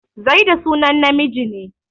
Zaidu sunan namiji ne.